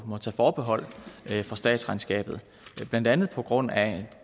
må tage forbehold for statsregnskabet blandt andet på grund af